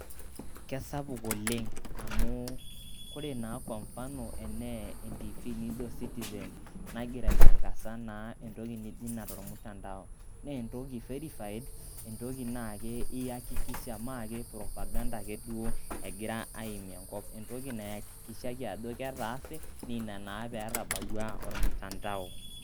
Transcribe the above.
Kesapuk oleng' amu, koree naa kwa mufano enaa entiifii nijo Citizen nagira aitangasa naa entoki naijo ina tolmutandao, naa entoki verified, entoki naa ke iyakikisha, mee ake propaganda ake duo egira aimie enkop. Entoki nayakikishaki ajo ketaase naa ina naa peetabawua Olmutandao.